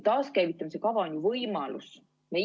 Taaskäivitamise kava on ju võimalus!